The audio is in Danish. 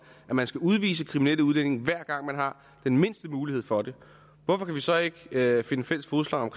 at man skal udvise kriminelle udlændinge hver gang man har den mindste mulighed for det hvorfor vi så ikke kan finde fælles fodslag om